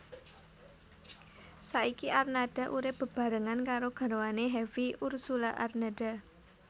Saiki Arnada urip bebarengan karo garwane Hevie Ursulla Arnada